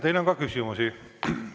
Teile on ka küsimusi.